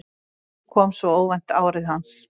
Núna kom svo óvænt árið hans.